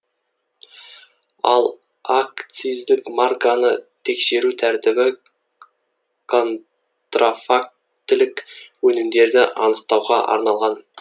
ал акциздік марканы тексеру тәртібі контрафактілік өнімдерді анықтауға арналған